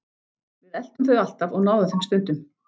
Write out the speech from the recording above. Við eltum þau alltaf og náðum þeim stundum.